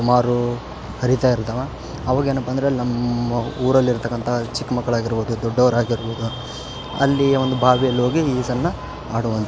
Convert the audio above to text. ಸುಮಾರು ಹರೀತ ಇರ್ತಾವ ಆವಾಗೇನಪ್ಪ ಅಂದ್ರೆ ನಮ್ಮ್ ಊರಲ್ಲಿ ಇರ್ತಕಂತ ಚಿಕ್ಕ ಮಕ್ಕ್ಳು ಆಗಿರ್ಬಹುದು ದೊಡ್ಡವ್ರಾಗಿರ್ಬಹುದು ಅಲ್ಲಿ ಒಂದು ಬಾವಿಯಲ್ಲಿ ಹೋಗಿ ಸಣ್ಣ್ ಆಡುವಂತ.